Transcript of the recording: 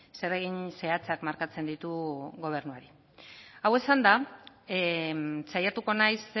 zeregin zehatzak markatzen ditu gobernuari hau esanda saiatuko naiz